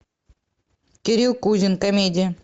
кирилл кузин комедия